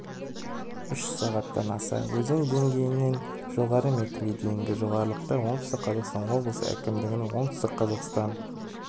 үш сағаттан аса өзен деңгейінен жоғары метрге дейінгі жоғарылықта оңтүстік қазақстан облысы әкімдігінің оңтүстік қазақстан